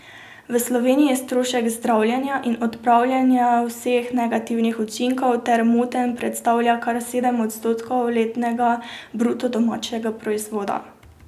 V Sloveniji strošek zdravljenja in odpravljanja vseh negativnih učinkov teh motenj predstavlja kar sedem odstotkov letnega bruto domačega proizvoda.